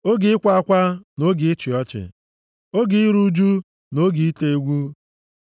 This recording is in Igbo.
oge ịkwa akwa, na oge ịchị ọchị, + 3:4 \+xt Rom 12:15\+xt* oge iru ụjụ na oge ite egwu,